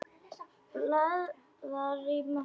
Blaðar í möppu.